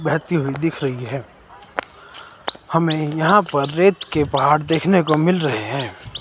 बहती हुई दिख रही है। हमें यहां पर रेत के पहाड़ देखने को मिल रहे हैं।